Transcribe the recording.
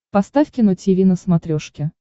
поставь кино тиви на смотрешке